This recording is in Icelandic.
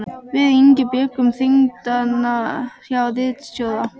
Við Ingi bjuggum þingdagana hjá ritstjóra